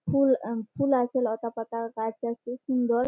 ফুল আঃ ফুল আছে লতাপাতা গাছ আছে সুন্দর।